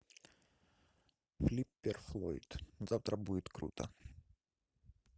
флиппер флойд завтра будет круто